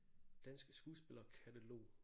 Dansk skuespiller katalog